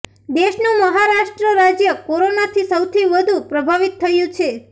દેશનું મહારાષ્ટ્ર રાજ્ય કોરોનાથી સૌથી વધુ પ્રભાવિત થયું છે